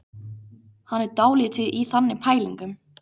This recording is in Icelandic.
Hann er dálítið í þannig pælingum.